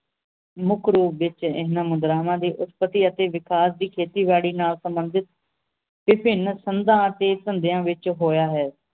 ਮੁਖ ਰੂਪ ਵਿਚ ਇਹਨਾਂ ਮੁਦਰਾਵਾਂ ਦੇ ਉਸਤਤੀ ਅਤੇ ਵਿਕਾਸ ਦੀ ਖੇਤੀ ਬਾੜੀ ਨਾਲ ਸੰਬੰਧਿਤ ਵਿਭਿੰਨ ਸੰਧਾਂ ਅਤੇ ਸੰਧ੍ਯਾ ਵਿਚ ਹੋਇਆ ਹੈ